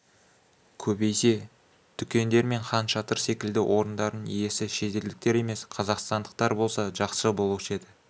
көбейсе дүкендер мен хан шатыр секілді орындардың иесі шетелдіктер емес қазақстанықтар болса жақсы болушы еді